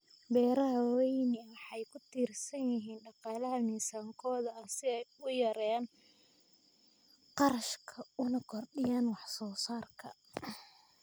Beeraha waaweyni waxay ku tiirsan yihiin dhaqaalaha miisaankooda si ay u yareeyaan kharashka una kordhiyaan wax soo saarka.